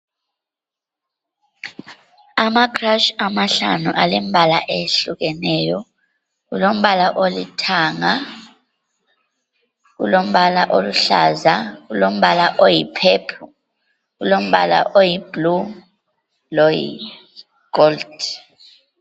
Amakhrashi amahlanu alombala oyehlukeneyo, kulombala olithanga, kulombala oluhlaza, kulombala oyipurple, kulombala oyiblue, loyigold.